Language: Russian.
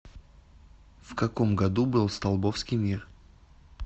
в каком году был столбовский мир